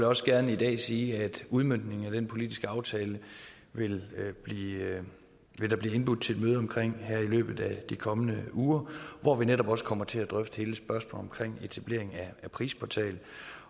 også gerne i dag sige at udmøntningen af den politiske aftale vil der blive indbudt til et møde om her i løbet af de kommende uger hvor vi netop også kommer til at drøfte hele spørgsmålet om etablering af en prisportal